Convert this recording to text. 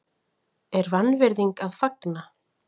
er vanvirðing að fagna?